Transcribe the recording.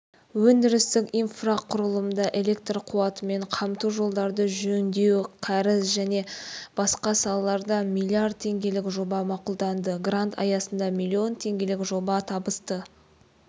өндірістік инфрақұрылымда электр қуатымен қамту жолдарды жөндеу кәріз және басқа салаларда миллиард теңгелік жоба мақұлданды грант аясында миллион теңгелік жоба табысты